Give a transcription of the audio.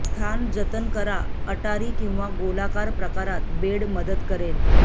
स्थान जतन करा अटारी किंवा गोलाकार प्रकारात बेड मदत करेल